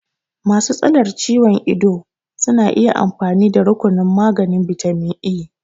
Masu tsalar ciwon ido zasu iya amfani da rukunin maganin bitamin E